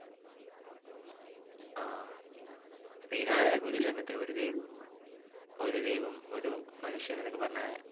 ആഹ് ശ്രീാരായണഗുരു അല്ലെ ഒരു ദൈവം ഒരു ദൈവം ഒരു മനുഷ്യൻ എന്നൊക്കെ പറഞ്ഞാ